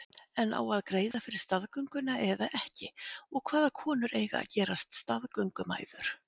En á að greiða fyrir staðgönguna eða ekki og hvaða konur eiga að gerast staðgöngumæður?